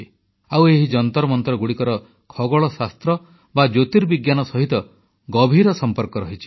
ଆଉ ଏହି ଯନ୍ତରମନ୍ତରଗୁଡ଼ିକର ଖଗୋଳ ଶାସ୍ତ୍ର ବା ଜ୍ୟୋର୍ତିବିଜ୍ଞାନ ସହିତ ଗଭୀର ସମ୍ପର୍କ ରହିଛି